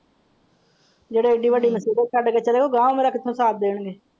ਜਿਹੜੇ ਇਹ ਦੇ ਵੱਡੇ ਰਿਸ਼ਤੇ ਗਾਹ ਮੇਰਾ ਕਿੱਥੋਂ ਸਾਥ ਦੇਣਗੇ।